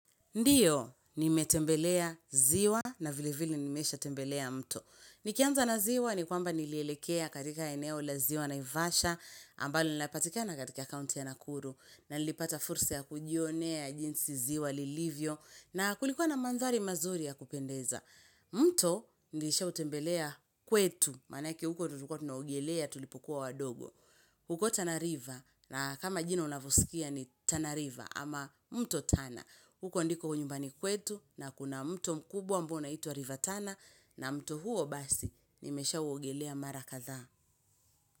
Ndiyo, nimetembelea ziwa na vile vile nimesha tembelea mto. Nikianza na ziwa ni kwamba nilielekea katika eneo la ziwa naivasha, ambalo linapatikea na katika kainti ya nakuru, na nilipata fursa ya kujionea jinsi ziwa lilivyo, na kulikuwa na mandhari mazuri ya kupendeza. Mto, nilisha utembelea kwetu, manake huko ndio tulikua tunaogelea tulipukua wadogo. Huko tana river na kama jino unavyoskia ni tanariva, ama mto tana. Huko ndiko nyumbani kwetu na kuna mtu mkubwa ambao unaitwa river tana na mto huo basi nimeshauogelea mara kadha.